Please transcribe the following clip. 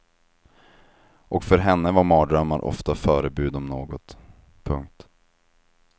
Och för henne var mardrömmar ofta förebud om något. punkt